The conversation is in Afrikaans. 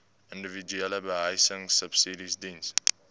individuele behuisingsubsidies diens